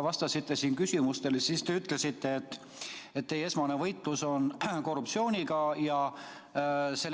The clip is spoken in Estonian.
Kui te täna siin küsimustele vastasite, siis ütlesite, et teie esmane võitlus on võitlus korruptsiooniga ja